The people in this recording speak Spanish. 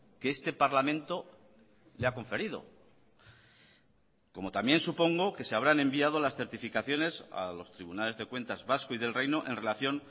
que este parlamento le ha conferido como también supongo que se habrán enviado las certificaciones a los tribunales de cuentas vasco y del reino en relación